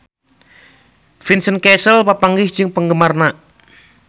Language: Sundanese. Vincent Cassel papanggih jeung penggemarna